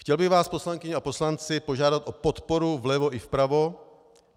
Chtěl bych vás, poslankyně a poslanci, požádat o podporu vlevo i vpravo.